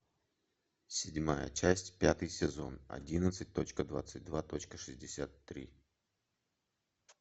седьмая часть пятый сезон одиннадцать точка двадцать два точка шестьдесят три